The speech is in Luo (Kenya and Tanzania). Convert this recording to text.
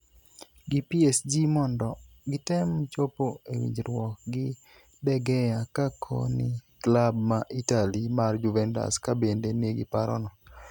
gi PSG mondo gitem chopo e winjruok gi De Gea, ka koni klab ma Itali mar Juventus ka bende nigi paro no